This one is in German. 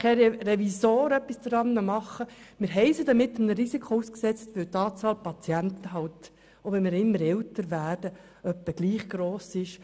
Kein Revisor kann etwas daran ändern, denn wir haben die RSZ einem Risiko ausgesetzt, weil die Anzahl der Patienten, selbst wenn wir immer älter werden, etwa gleichbleibend ist.